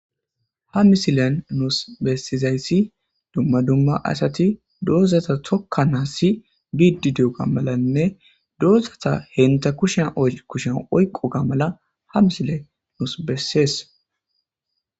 ha misilen nuus bessizayssi dumma dumma asati doozata tokka naassi biididuoga malanne doozata henta kushan kushen oyqo ga mala ha misile nus bessees